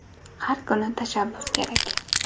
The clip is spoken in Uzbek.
Har kuni tashabbus kerak.